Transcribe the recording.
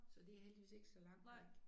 Så det heldigvis ikke så langt væk